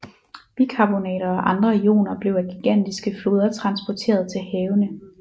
Bikarbonater og andre ioner blev af gigantiske floder transporteret til havene